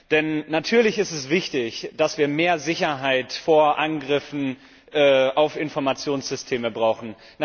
Denn natürlich ist es wichtig, dass wir mehr Sicherheit vor Angriffen auf Informationssysteme brauchen.